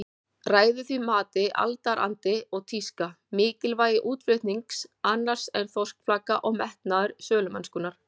Ræður því mati aldarandi og tíska, mikilvægi útflutnings annars en þorskflaka og metnaður sölumennskunnar.